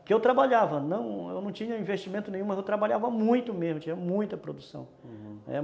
Porque eu trabalhava, não, eu não tinha investimento nenhum, mas eu trabalhava muito mesmo, tinha muita produção, uhum